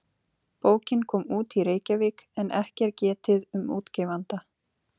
Bókin kom út í Reykjavík en ekki er getið um útgefanda.